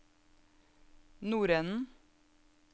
nordenden